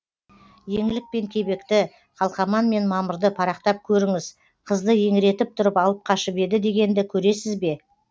еңлік пен кебекті қалқаман мен мамырды парақтап көріңіз қызды еңіретіп тұрып алып қашып еді дегенді көресіз бе